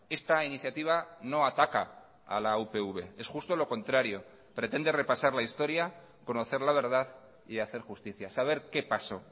esta iniciativa no ataca a la upv es justo lo contrario pretende repasar la historia conocer la verdad y hacer justicia saber qué pasó